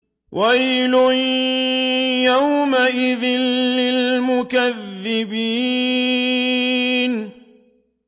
وَيْلٌ يَوْمَئِذٍ لِّلْمُكَذِّبِينَ